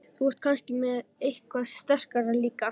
Þú ert kannski með eitthvað sterkara líka?